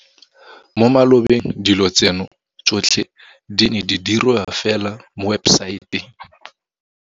Mo malobeng dilo tseno tsotlhe di ne di diriwa fela mo webesaete.